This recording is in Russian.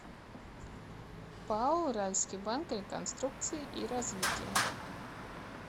пао уральский банк реконструкции и развития